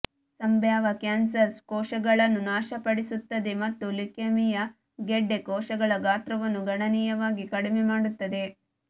ಸಂಭಾವ್ಯ ಕ್ಯಾನ್ಸರ್ ಕೋಶಗಳನ್ನು ನಾಶಪಡಿಸುತ್ತದೆ ಮತ್ತು ಲ್ಯುಕೇಮಿಯಾ ಗೆಡ್ಡೆ ಕೋಶಗಳ ಗಾತ್ರವನ್ನು ಗಣನೀಯವಾಗಿ ಕಡಿಮೆ ಮಾಡುತ್ತದೆ